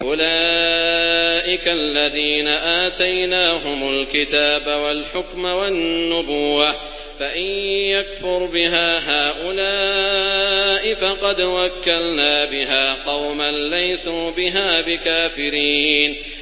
أُولَٰئِكَ الَّذِينَ آتَيْنَاهُمُ الْكِتَابَ وَالْحُكْمَ وَالنُّبُوَّةَ ۚ فَإِن يَكْفُرْ بِهَا هَٰؤُلَاءِ فَقَدْ وَكَّلْنَا بِهَا قَوْمًا لَّيْسُوا بِهَا بِكَافِرِينَ